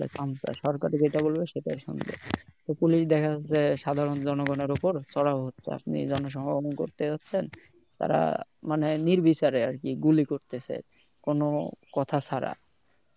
সরকার যেটা বলবে সেটাই শুনবে তো police দেখা যাচ্ছে সাধারণ জনগনের উপর চওড়া হচ্ছে আপনি জন সমাগম করতে চাচ্ছেন তারা মানে নির্বিচারে আরকি গুলি করতেছে কোন কথা ছাড়া